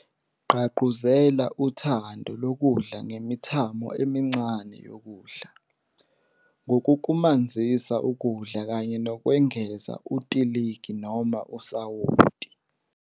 Gqagquzela uthando lokudla ngemithamo emincane yokudla, ngokukumanzisa ukudla kanye nokwengeza utiligi noma usawoti.